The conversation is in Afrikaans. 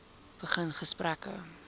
begin gesprekke